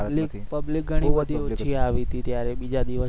public ઘણીબધી ઓછી આવિ હતી. ત્યારે બીજા દિવસે